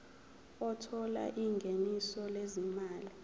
othola ingeniso lezimali